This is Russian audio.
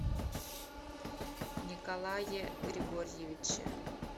николае григорьевиче